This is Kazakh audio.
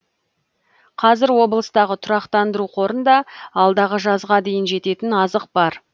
қазір облыстағы тұрақтандыру қорында алдағы жазға дейін жететін азық бар